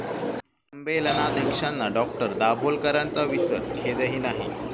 संमेलनाध्यक्षांना डॉ.दाभोलकरांचा विसर, खेदही नाही!